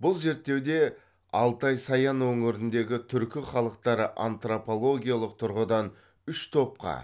бұл зерттеуде алтай саян өңіріндегі түркі халықтары антропологиялық тұрғыдан үш топқа